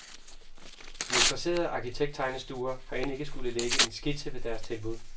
De interesserede arkitekttegnestuer har end ikke skullet lægge en skitse ved deres tilbud.